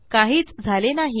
काहीच झाले नाही